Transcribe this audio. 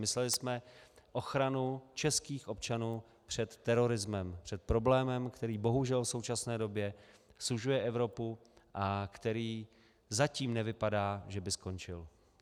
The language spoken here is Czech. Mysleli jsme ochranu českých občanů před terorismem, před problémem, který bohužel v současné době sužuje Evropu a který zatím nevypadá, že by skončil.